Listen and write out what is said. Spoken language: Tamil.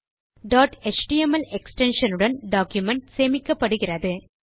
டாட் எச்டிஎம்எல் எக்ஸ்டென்ஷன் உடன் டாக்குமென்ட் சேமிக்கப்படுகிறது